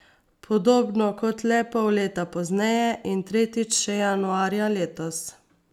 Podobno kot le pol leta pozneje in tretjič še januarja letos.